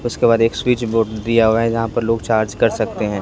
उसके बाद एक स्विच बोर्ड दिया हुआ है जहां पर लोग चार्ज कर सकते हैं।